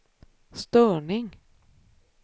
störning